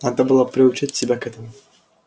надо было приучать себя к этому